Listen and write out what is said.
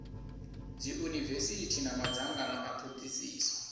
dziunivesithi na madzangano a thodisiso